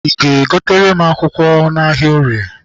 I ga-egotere m akwụkwọ n'ahịa orie?